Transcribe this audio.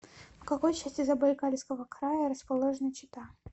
в какой части забайкальского края расположена чита